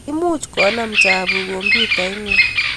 imuuch konam chapuuk komyutait ngung